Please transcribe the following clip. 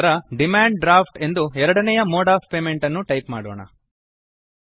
ನಂತರ ಡಿಮಾಂಡ್ Draftಎಂದು ಎರಡನೆಯ ಮೋಡ್ ಒಎಫ್ ಪೇಮೆಂಟ್ ಅನ್ನು ಟೈಪ್ ಮಾಡೋಣ